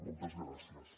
moltes gràcies